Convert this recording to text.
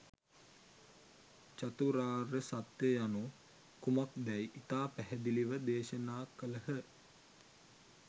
චතුරාර්ය සත්‍යය යනු කුමක්දැයි ඉතා පැහැදිලිව දේශනා කළහ.